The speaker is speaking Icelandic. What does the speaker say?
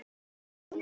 Spila golf?